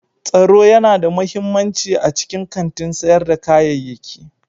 Tsaro yana da mahimmanci a cikin kantin sayar da kayayyaki.